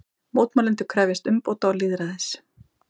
Mótmælendur krefjast umbóta og lýðræðis